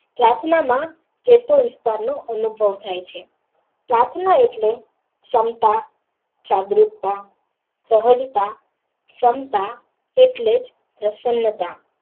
પ્રાર્થના માં જે તે વિસ્તારીયો અને ઉભો થયા છે પ્રાર્થના એટલે શંકા જાગૃતા સહજતા ક્ષમતા એટલેજ પ્રસન્તા.